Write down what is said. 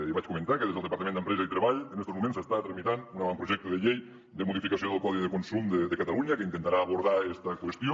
ja vaig comentar que des del departament d’empresa i treball en estos moments s’està tramitant un avantprojecte de llei de modificació del codi de consum de catalunya que intentarà abordar esta qüestió